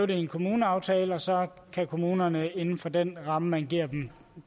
det i en kommuneaftale og så kan kommunerne inden for den ramme man giver dem